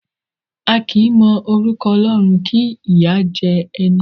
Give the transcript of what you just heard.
A kì í mọ orúkọ Ọlọ́run kí ìyá jẹ ẹni.